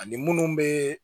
Ani munnu bɛ